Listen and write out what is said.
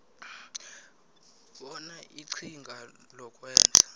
bona iqhinga lokwenza